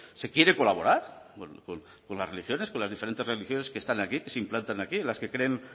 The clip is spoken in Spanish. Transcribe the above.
se quiere colaborar con las religiones con las diferentes religiones que están aquí se implantan aquí en las que creen